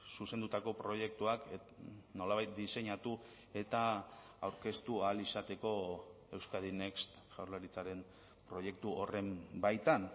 zuzendutako proiektuak nolabait diseinatu eta aurkeztu ahal izateko euskadi next jaurlaritzaren proiektu horren baitan